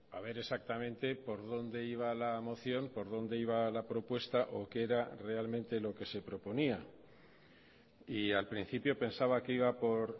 a ver exactamente por dónde iba la moción por dónde iba la propuesta o qué era realmente lo que se proponía y al principio pensaba que iba por